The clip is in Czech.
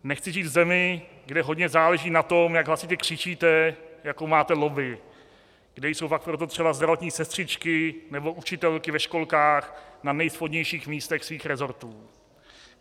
Nechci žít v zemi, kde hodně záleží na tom, jak hlasitě křičíte, jakou máte lobby, kde jsou pak proto třeba zdravotní sestřičky nebo učitelky ve školkách na nejspodnějších místech svých resortů.